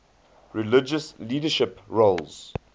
religious leadership roles